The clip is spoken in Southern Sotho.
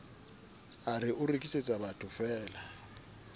a re o rekisetsa bathofeela